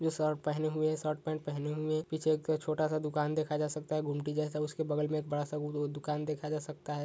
Shirt पहने हुए shirt pant पहने हुए पीछे एक छोटा-सा दुकान देखा जा सकता है गुमटी जैसा उसके बगल में एक बड़ा- सा वो दु-दुकान देखा जा सकता हैं।